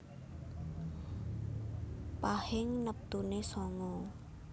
Pahing neptune sanga